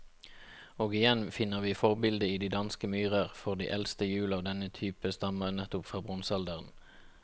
Og igjen finner vi forbildet i de danske myrer, for de eldste hjul av denne type stammer nettopp fra bronsealderen.